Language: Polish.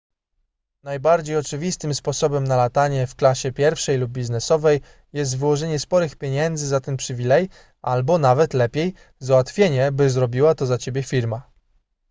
najbardziej oczywistym sposobem na latanie w klasie pierwszej lub biznesowej jest wyłożenie sporych pieniędzy za ten przywilej albo – nawet lepiej – załatwienie by zrobiła to za ciebie firma